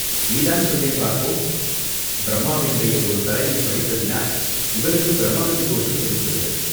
"நீதான் சொல்லேன், பார்ப்போம்!" "பிரம்மாவினுடைய ஒரு தலையைப் பறித்ததினால் சிவனுக்குப் பிரம்மஹத்தி தோஷம் பிடித்துவிட்டது.